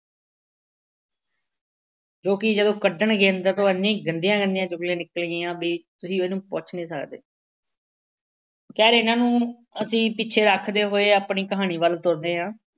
ਜੋ ਕਿ ਜਦੋਂ ਕੱਢਣਗੇ ਅੰਦਰ ਤਾਂ ਉਹ ਐਨੀਆਂ ਗੰਦੀਆਂ ਗੰਦੀਆਂ ਚੁਗਲੀਆਂ ਨਿਕਲਣਗੀਆਂ ਬਈ ਤੁਸੀਂ ਉਹਨੂੰ ਪੁੱਛ ਨਹੀਂ ਸਕਦੇ। ਖੈਰ ਇਹਨਾ ਨੂੰ ਅਸੀਂ ਪਿੱਛੇ ਰੱਖਦੇ ਹੋਏ ਆਪਣੀ ਕਹਾਣੀ ਵੱਲ ਤੁਰਦੇ ਹਾਂ।